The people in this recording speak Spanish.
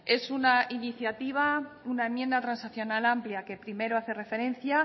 es una enmienda transaccional amplia que primero hace referencia